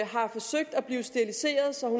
har forsøgt at blive steriliseret så